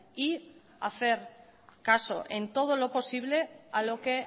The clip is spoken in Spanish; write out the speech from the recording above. y hacer caso en todo lo posible a lo que